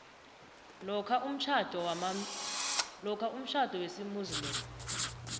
lokha umtjhado wesimuslimu